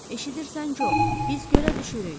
Eşidirsən, Co, biz gölə düşürük.